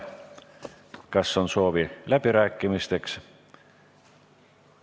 Kas on läbirääkimiste soovi?